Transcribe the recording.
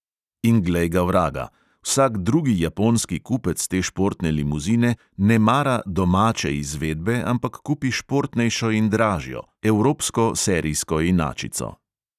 In glej ga vraga; vsak drugi japonski kupec te športne limuzine ne mara "domače" izvedbe, ampak kupi športnejšo in dražjo – evropsko serijsko inačico.